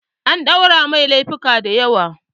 An ɗaura mai lefuka da yawa